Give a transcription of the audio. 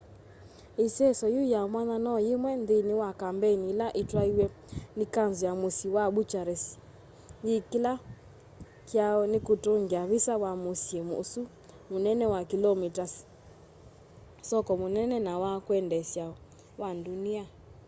iseso yiu ya mwanya no yimwe nthini wa kambeini ila itwaiiw'e ni kanzu ya musyi wa bucharest yila kieleelo kyayo ni kutungia visa wa musyi usu munene wa kilomi ta soko munene na wa kwendeesya wa ndunia